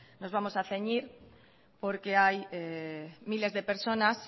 nos vamos a ceñir porque hay miles de personas